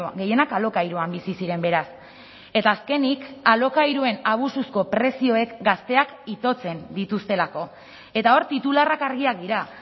gehienak alokairuan bizi ziren beraz eta azkenik alokairuen abusuzko prezioek gazteak itotzen dituztelako eta hor titularrak argiak dira